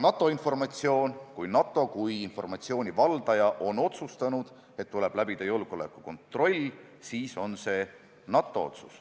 Aga kui NATO oma informatsiooni valdajana on otsustanud, et tuleb läbida julgeolekukontroll, siis on see NATO otsus.